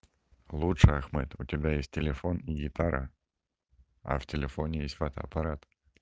лучшее ахмед у тебя есть телефон и гитара а в телефоне есть фотоаппарат